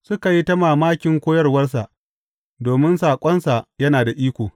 Suka yi ta mamakin koyarwarsa, domin saƙonsa yana da iko.